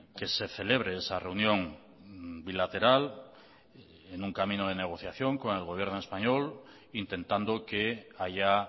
que se celebre esa reunión bilateral en un camino de negociación con el gobierno español intentando que haya